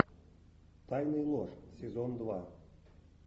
тайны и ложь сезон два